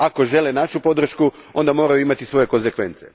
Ako žele našu podršku onda moraju imati i svoje konzekvence.